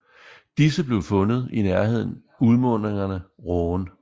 Disse blev fundet i nærheden udmundingerne Rhône